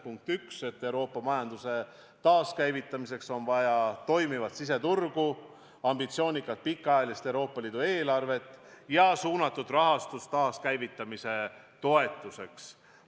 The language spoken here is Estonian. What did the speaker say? Punkt 1: Euroopa majanduse taaskäivitamiseks on vaja toimivat siseturgu, ambitsioonikat pikaajalist Euroopa Liidu eelarvet ja suunatud rahastust taaskäivitamise toetuseks.